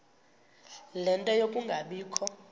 ie nto yokungabikho